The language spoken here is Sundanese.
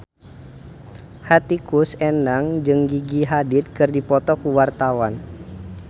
Hetty Koes Endang jeung Gigi Hadid keur dipoto ku wartawan